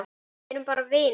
Við erum bara vinir.